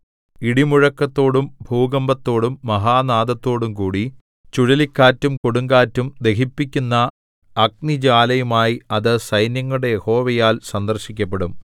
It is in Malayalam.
ഇടിമുഴക്കത്തോടും ഭൂകമ്പത്തോടും മഹാനാദത്തോടും കൂടി ചുഴലിക്കാറ്റും കൊടുങ്കാറ്റും ദഹിപ്പിക്കുന്ന അഗ്നിജ്വാലയുമായി അത് സൈന്യങ്ങളുടെ യഹോവയാൽ സന്ദർശിക്കപ്പെടും